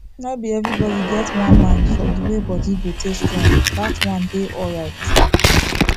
nor be everybody get one mind for d way body go take strong that one dey alright